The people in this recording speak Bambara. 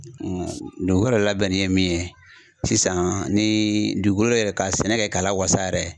dugukolo labɛnnen ye min ye, sisan ni dugukolo yɛrɛ ka sɛnɛ kɛ k'a lawasa yɛrɛ